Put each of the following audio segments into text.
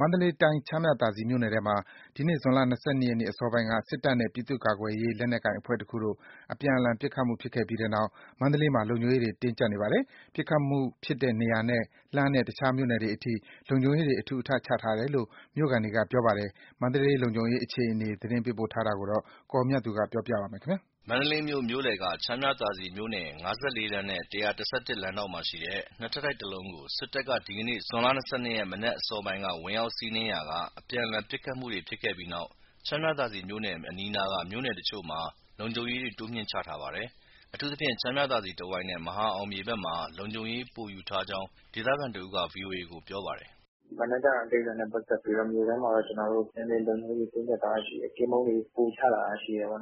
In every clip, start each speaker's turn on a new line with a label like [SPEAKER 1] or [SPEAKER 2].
[SPEAKER 1] မန္တလေးတိုင်း ချမ်းမြသာစည်မြို့နယ်ထဲမှာ ဒီနေ့ ဇွန်လ ၂၂ ရက်အစောပိုင်းက စစ်တပ်နဲ့ ပြည်သူ့ကာကွယ်ရေး လက်နက်ကိုင်အဖွဲ့တခုတို့ အပြန်အလှန် ပစ်ခတ်မှု ဖြစ်ခဲ့ပြီးနောက် မန္တလေးမှာ လုံခြုံရေးတင်းကြပ်နေပါတယ်။ ပစ်ခတ်မှုဖြစ်တဲ့နေရာနဲ့ လှမ်းတဲ့တခြားမြို့နယ်တွေအထိ လုံခြုံရေးတွေ အထူအထပ်ချထားတယ်လို့ မြို့ခံတွေက ပြောပါတယ်။ မန္တလေးလုံခြုံရေးအခြေအနေကို သတင်းပေးပို့ထားတာကို ကိုအောင်မြတ်သူ ပြောပြပါမယ်။
[SPEAKER 2] မန္တလေးမြို့ မြို့လယ်က ချမ်းမြသာစည်မြို့နယ် ၅၄ လမ်းနဲ့ ၁၁၁ လမ်းဒေါင့်မှာရှိတဲ့ ၂ ထပ်တိုက်တလုံးကို စစ်တပ်က ဒီနေ့ ဇွန် ၂၂ ရက် မနက်အစောပိုင်းက ဝင်ရောက်စီးနင်းရာက အပြန်အလှန် ပစ်ခတ်မှုတွေ ဖြစ်ခဲ့ပြီးနောက်၊ ချမ်းမြသာစည်မြို့နယ်အပြင် အနီးအနားက မြို့နယ်တချို့မှာ လုံခြုံရေးတွေ တိုးမြှင့်ချထားပါတယ်။ အထူးသဖြင့် ချမ်းမြသာစည် တဝိုက်နဲ့ မဟာအောင်မြေဘက်မှာ လုံခြုံရေးပိုယူထားကြောင်း ဒေသခံတဦးက ဗွီအိုအေကို ပြောပါတယ်
[SPEAKER 3] ။ “မနက်က ကိစ္စနဲ့ပတ်သက်ပြီးတော့ မြို့ထဲမှာ နည်းနည်းလုံခြုံရေး တင်းကျပ်ထားတာရှိတယ်။ ကင်းပုန်းတွေ ပိုချထားတာရှိတယ်။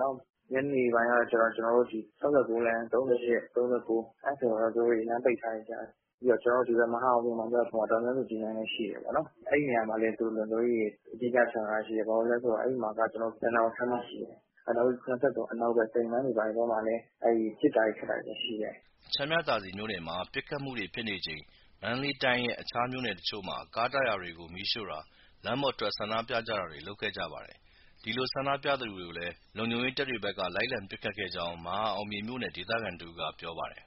[SPEAKER 3] ညနေပိုင်းကျတော့ ကျနော်တို့ ၆၉ လမ်း၊ ၃၈ x ၃၉ အဲဒီမှာ သူတို့လမ်းပိတ်ထားတယ်။ ပြီးတော့ ကျနော်တို့ ဒီဘက် မဟာအောင်မြေဘက်မှာ ဒေါ်အောင်ဆန်းစုကြည်လမ်းလည်း ရှိတယ်၊ အဲဒီနေရာမှာလည်း သူတို့လုံခြုံရေးတွေ အဓိက ချထားတာရှိတယ် ဘာလို့ဆို အဲဒီမှာက ရတနာပုံခန်းမရှိတယ်။ နောက်ပြီး ၇၃ အနောက်ဘက်မှာ ပစ်တာခတ်တာတွေရှိတယ်
[SPEAKER 2] ။” ချမ်းမြသာစည်မြို့နယ်မှာ ပစ်ခတ်မှုတွေဖြစ်နေချိန် မန္တလေးတိုင်းရဲ့ တခြားမြို့နယ်တချို့မှာ ကားတာယာတွေကို မီးရှို့တာ၊ လမ်းပေါ်ထွက် ဆန္ဒပြကြတာတွေ လုပ်ခဲ့ကြပါတယ်။ ဒီလိုဆန္ဒပြသူတွေကိုလည်း လုံခြုံရေးတပ်တွေဖက်က လိုက်လံပစ်ခတ်ခဲ့ကြောင်း မဟာအောင်မြေမြို့နယ်က ဒေသခံတဦးက ပြောပါတယ်။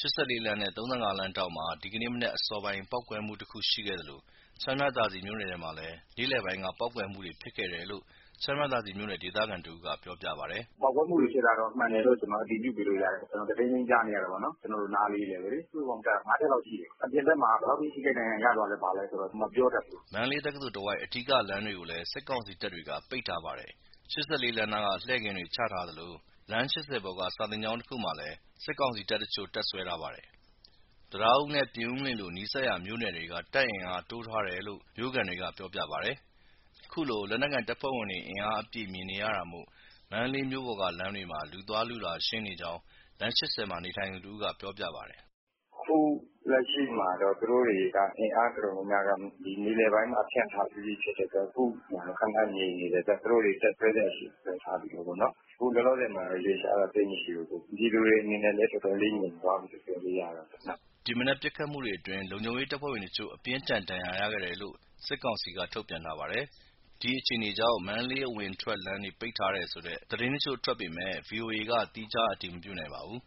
[SPEAKER 2] ၈၄ လမ်းနဲ့ ၃၅ လမ်းထောင့်မှာ ဒီနေ့ မနက်အစောပိုင်းက ပေါက်ကွဲမှုတခုရှိခဲ့သလို ချမ်းမြသာစည် မြို့နယ်ထဲမှာလည်း နေ့လည်ပိုင်းက ပေါက်ကွဲမှုတွေဖြစ်ခဲ့တယ်လို့ ချမ်းမြသာစည်မြို့နယ် ဒေသခံတဦးက ပြောပြပါတယ်။
[SPEAKER 4] “ ပေါက်ကွဲမှုတွေဖြစ်တာကတော့ မှန်တယ်လို့ ကျနော်အတည်ပြုပေးလို့ရတယ် ကျနော် တဒိန်းဒိန်း ကြားနေရတာပေါ့နော် ကျနော်တို့နားလေးဘဲ။ စုစုပေါင်းကြားတာ ငါးချက်လောက်ရှိတယ်။ အပြင်ဘက်မှာ ဘယ်လောက်အထိ ထိခိုက်ဒဏ်ရာ ရသွားလဲဆိုတာ မပြောတတ်ဘူး
[SPEAKER 2] ။” မန္တလေးတက္ကသိုလ်တဝိုက် အဓိကလမ်းတွေကိုလည်း စစ်ကောင်စီတပ်တွေက ပိတ်ထားပါတယ်။ ၈၄ လမ်းနားမှာ လှည့်ကင်းတွေ ချထားသလို လမ်း ၈၀ ပေါ်က စာသင်ကျောင်းတခုမှာလည်း စစ်ကောင်စီတပ်တချို့ တပ်စွဲထားပါတယ်။ တံတားဦးနဲ့ ပြင်ဦးလွင်လို နီးစပ်ရာမြို့နယ်တွေက တပ်အင်အား တိုးထားတယ်လို့ မြို့ခံတွေက ပြောပြပါတယ်။ ခုလို လက်နက်ကိုင်တပ်ဖွဲ့ဝင်တွေ အင်အားအပြည့် မြင်နေရတာမို့ မန္တလေးမြို့ပေါ်က လမ်းတွေမှာ လူသွားလူလာ ရှင်းလင်းနေကြောင်း လမ်း ၈၀ မှာနေထိုင်သူတဦးက ပြောပါတယ်
[SPEAKER 4] ။ “ အခုလက်ရှိမှာတော့ သူတို့တွေက အင်အားတော်တော်များများက မြေပြင်ပိုင်းမှာ ဖြန့်ထားပြီးပြီ ဖြစ်တဲ့အတွက် အခုမှာတော့ ခဏငြိမ်နေတယ်။ သူတို့တွေ တပ်စွဲစရာရှိတာ စွဲထားပြီးပြီပေါ့။ အခုလောလောဆယ်မှာတော့ ရွေ့လျားတာ သိပ်မရှိဘူး။ ပြည်သူတွေ အနေနဲ့လည်း တော်တော်လေး ငြိမ်သွားပြီလို့ ပြေကာလို့
[SPEAKER 2] ရတာပေါ့။” ဒီမနက်ပစ်ခတ်မှုတွေအတွင်း လုံခြုံရေးတပ်ဖွဲ့ဝင်တချို့ အပြင်းအထန်ဒဏ်ရာရခဲ့တယ်လို့ စစ်ကောင်စီက ထုတ်ပြန်ထားပါတယ်။ ဒီအခြေအနေကြောင့် မန္တလေးအဝင်အထွက် လမ်းတွေ ပိတ်ထားတယ်ဆိုတဲ့ သတင်းတချို့ထွက်ပေမဲ့ ဗီအိုအေက သီးခြားအတည်မပြုနိုင်ပါဘူး